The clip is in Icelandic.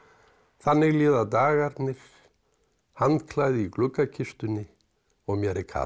þannig líða dagarnir handklæði í gluggakistunni og mér er kalt